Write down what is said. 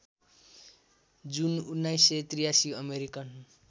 जुन १९८३ अमेरिकन